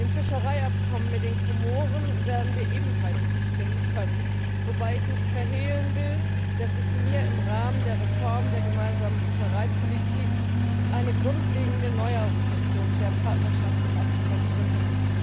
Dem Fischereiabkommen mit den Komoren werden wir ebenfalls zustimmen können, wobei ich nicht verhehlen will, dass ich mir im Rahmen der Reform der Gemeinsamen Fischereipolitik eine grundlegende Neuausrichtung der Partnerschaftsabkommen wünsche.